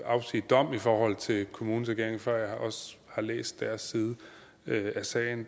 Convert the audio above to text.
afsige dom i forhold til kommunens ageren før jeg også har læst deres side af sagen